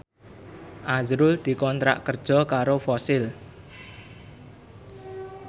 azrul dikontrak kerja karo Fossil